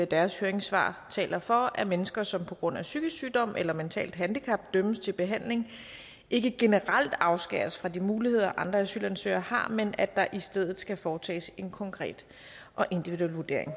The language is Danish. deres høringssvar taler for at mennesker som på grund af psykisk sygdom eller et mentalt handicap dømmes til behandling ikke generelt afskæres fra de muligheder som andre asylansøgere har men at der i stedet skal foretages en konkret og individuel vurdering